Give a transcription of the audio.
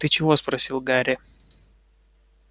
ты чего спросил гарри